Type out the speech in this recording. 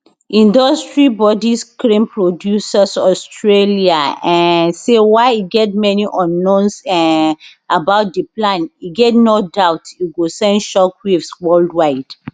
industry body screen producers australia um say while e get many unknowns um about di plan e get no doubt e go send shock waves worldwide